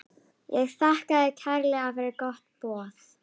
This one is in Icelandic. Ég þakkaði kærlega fyrir gott boð.